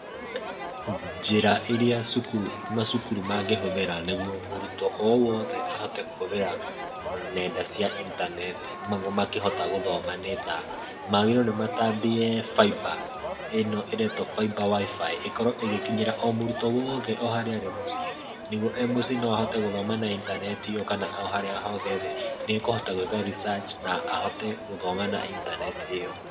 Njĩra irĩa macukuru mangĩhũthĩra nĩgũo mũrutwo o wothe ahote kũhũthira nenda cia internet nĩgũo makĩhote gũthoma nĩ ta, magĩrĩirwo nĩ matambie Faiba, ĩno ĩretwo Faiba WIFI, ĩkorwo ĩgĩkinyira o mũrũtwo woothe o harĩa arĩa mũciĩ. Nĩgetha e mũciĩ no ahote gũthoma na intaneti ĩyo ,kana o harĩa hothe arĩ nĩ ekũhota gwĩka research na ahote gũthoma na internet ĩyo.